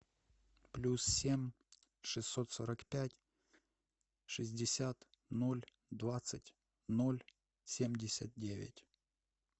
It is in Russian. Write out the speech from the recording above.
плюс семь шестьсот сорок пять шестьдесят ноль двадцать ноль семьдесят девять